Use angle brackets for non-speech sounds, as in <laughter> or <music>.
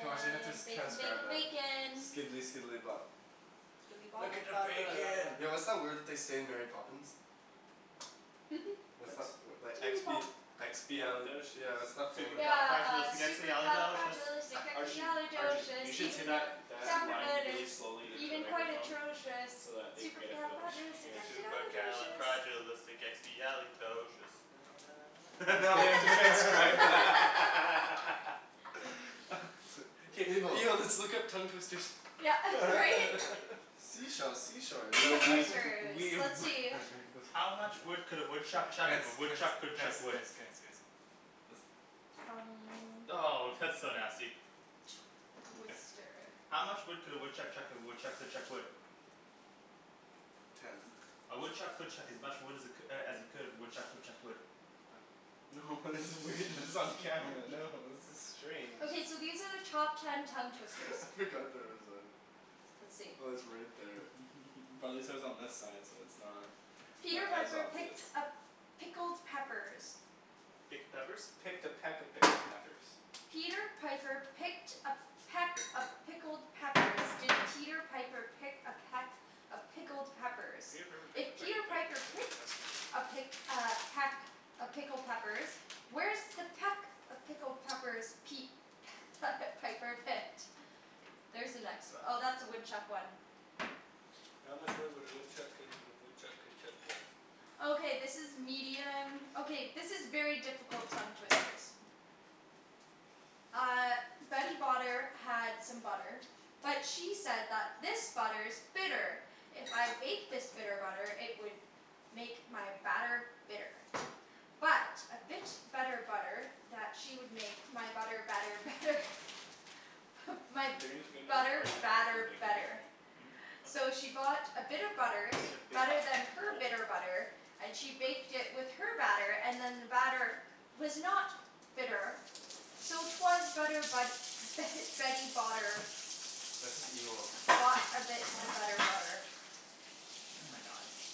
I wonder if they have to Bacon transcribe bacon that. bacon. Skidely skidely bop. Look at the <noise> bacon! <noise> Yo what's that word that they say in Mary Poppins? <laughs> What's What? that, that expi- <noise> expiali- Expialidocious. yeah what's that word? Yeah uh, Supercalifragilisticexpialidocious! Arjun. Arjun. You supercalifragilisticexpialidocious, should say even though that the that sound of line it really is slowly into a even quite microphone. atrocious, So that they can get it <inaudible> supercalifragilisticexpialidocious. Supercalifragilisticexpialidocious. <laughs> Now they have to transcribe <laughs> <laughs> <laughs> <laughs> Evil. Yo, let's look up tongue twisters. Yeah right? <laughs> Sea shells sea shores We will down Tongue by be, the twisters. we... Let's see. Wait, wait, listen. How much wood could a woodchuck Guys chuck if a guys woodchuck guys could guys chuck wood? guys guys. Listen. Tongue Oh! That's so nasty. Twister. How much wood could a woodchuck chuck if a woodchuck could chuck wood? Ten. A woodchuck could chuck as much wood as it as he could if a woodchuck could chuck wood. Oh. No this is weird, this is on camera, no, this is strange. Okay so these are the top ten tongue twisters. <laughs> I I forgot forgot that that it it was was on. on. Let's see. Oh it's right there. <laughs> Probably says on this side so it's not Peter as Piper picked obvious. a pickled peppers. Picked a peppers? Picked a peck of pickled peppers. Peter Piper picked a peck of pickled peppers. Did Peter Piper pick a peck of pickled peppers, Peter Piper if picked a peck Peter of Piper pick pickled peck picked a pick peppers. uh peck of pickled peppers, where's the peck of pickled peppers Pete <laughs> Piper picked? There's the next one. Oh that's the woodchuck one. How much wood would a woodchuck could if a woodchuck could chuck wood? Okay this is medium, okay this is very difficult tongue twisters. Uh Betty Botter had some butter, but she said that this butter is bitter. If I bake this bitter butter, it would make my batter bitter. But a bit of better butter that she would make my butter better better. My If you're going to get another butter frying pan I'm gonna put the batter bacon here? better. Mhm. So she bought a bit of butter, better than her bitter butter, and she baked it with her batter, and then the batter was not bitter. So it was better but Betty Botter That's just evil. Bought a bit of better butter. Oh my god.